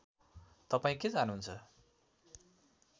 तपाईँ के चाहनुहुन्छ